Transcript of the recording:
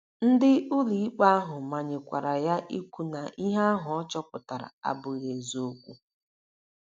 Ndị ụlọikpe ahụ manyekwara ya ikwu na ihe ahụ ọ chọpụtara abụghị eziokwu.